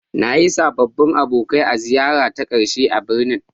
Na yi sababbin abokai a ziyarara ta ƙarshe a birnin.